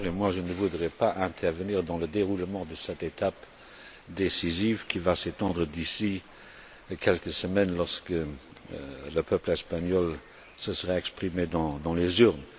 Je ne voudrais pas intervenir dans le déroulement de cette étape décisive, qui va s'étendre d'ici quelques semaines, lorsque le peuple espagnol se sera exprimé par les urnes.